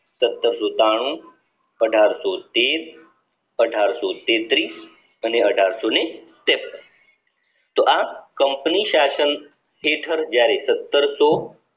સતરસો એકાણું અઢારસો તેર અઢારસો તેત્રીસ અને અઢારશોને ત્રેપન તો આ company શાસન હેઠળ જયારે સત્તરસો